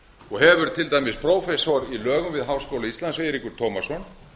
og hefur til dæmis prófessor í lögum við háskóla íslands eiríkur tómasson